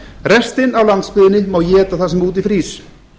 restin af landsbyggðinni má éta það sem úti frýs